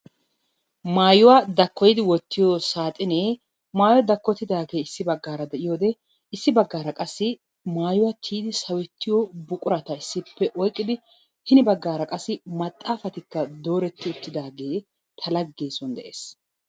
Maayuwa dakkoyidi wottiyo saaxinee maayoyi dakkotidaagee issi baggaara de"iyode issi baggaara qassi maayuwa tiyidi sawettiyo buqurata issippe oyqqidi hini baggaara qassi maxaafatikka dooretti uttidaagee ta laggee son de"es.